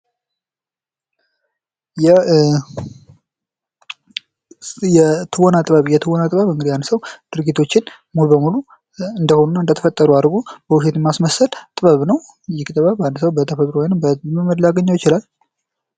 የትወና ጥበብ እንግዲህ አንድ ሰው ድርጊቶችን ሙሉ በሙሉ እንደሆኑና እንደተፈጠሩ አድርጎ ፊትን በማስነሳል ጥበብን ይህ ጥበብ አንድ ሰው በተፈጥሮ በመለማመድ ሊያገኘው ይችላል።